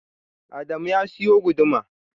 Adamu ya siyo guduma.